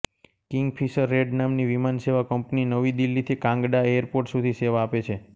Kingfisher red નામની વિમાન સેવા કંપની નવી દીલ્હીથી કાંગડા એયર પોર્ટ સુધી સેવા આપે છે